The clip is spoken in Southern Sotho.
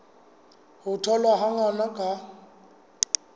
ho tholwa ha ngwana ka